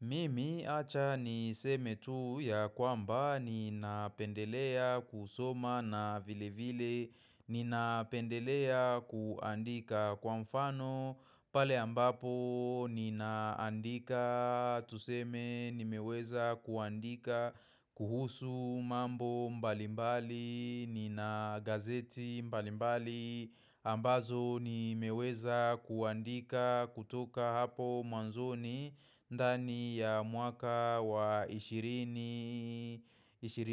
Mimi acha niseme tu ya kwamba nina pendelea kusoma na vile vile nina pendelea kuandika kwa mfano pale ambapo ninaandika tuseme nimeweza kuandika kuhusu mambo mbalimbali nina gazeti mbalimbali ambazo ni meweza kuandika kutoka hapo mwanzoni ndani ya mwaka wa 20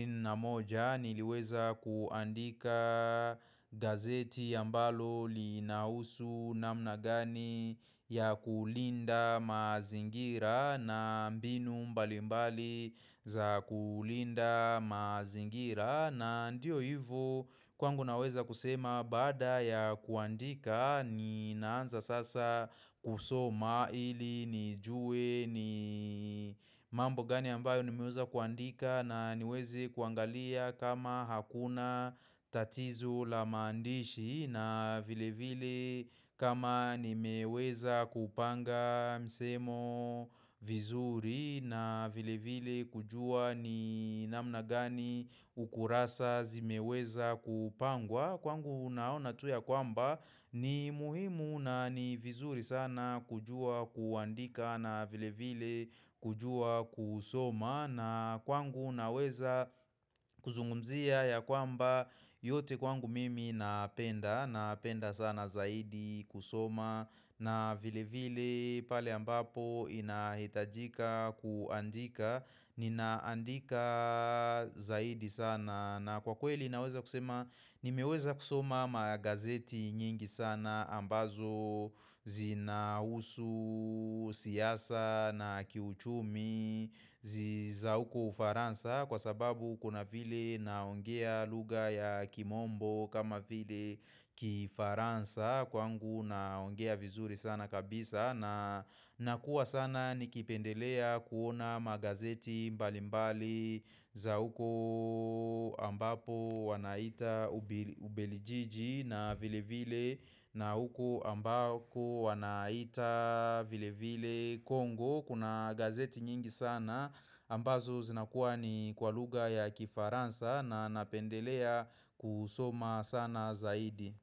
na moja Niliweza kuandika gazeti ambalo linahusu na mnagani ya kulinda mazingira na mbinu mbali mbali za kulinda mazingira na ndiyo hivo kwangu naweza kusema baada ya kuandika ni naanza sasa kusoma ili nijue ni mambo gani ambayo ni meweza kuandika na niweze kuangalia kama hakuna tatizo la maandishi na vile vile kama ni meweza kupanga msemo vizuri na vile vile kujua ni namna gani ukurasa zimeweza kupangwa Kwangu unaona tu ya kwamba ni muhimu na ni vizuri sana kujua kuandika na vile vile kujua kusoma na kwangu naweza kuzungumzia ya kwamba yote kwangu mimi napenda Napenda sana zaidi kusoma na vile vile pale ambapo inahitajika kuandika Ninaandika zaidi sana na kwa kweli naweza kusema Nimeweza kusoma magazeti nyingi sana ambazo zinahusu siasa na kiuchumi za huko ufaransa kwa sababu kuna vile naongea luga ya kimombo kama vile kifaransa kwangu naongea vizuri sana kabisa na nakuwa sana nikipendelea kuona magazeti mbali mbali za uko ambapo wanaita ubelijiji na vile vile na uko ambapo wanaita vile vile kongo Kuna gazeti nyingi sana ambazo zinakuwa ni kwa lugha ya kifaransa na napendelea kusoma sana zaidi.